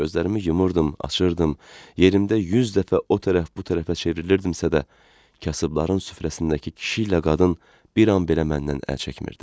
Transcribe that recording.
Gözlərimi yumurdum, açırdım, yerimdə 100 dəfə o tərəf bu tərəfə çevrilirdimsə də, kasıbların süfrəsindəki kişi ilə qadın bir an belə məndən əl çəkmirdi.